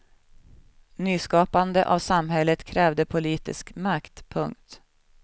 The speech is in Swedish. Nyskapande av samhället krävde politisk makt. punkt